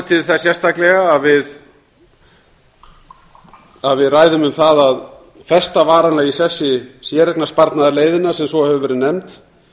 til þess sérstaklega að við ræðum um það að festa varanlega í sessi séreignarsparnaðarleiðina sem svo hefur verið nefnd